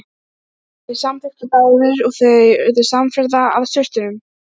Þeir samþykktu báðir og þau urðu samferða að sturtunum.